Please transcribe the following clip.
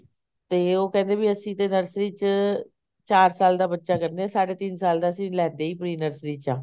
ਤੇ ਉਹ ਕਹਿੰਦੇ ਵੀ ਅਸੀਂ ਤਾਂ nursery ਚ ਚਾਰ ਸਾਲ ਦਾ ਬੱਚਾ ਕਰਦੇ ਸਾਢੇ ਤਿੰਨ ਸਾਲ ਤਾਂ ਅਸੀਂ ਲੈਂਦੇ ਈ pre nursery ਚ ਆ